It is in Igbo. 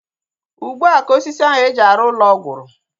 Ugbua ka osisi ahu eji arụ ụlọ gwụrụ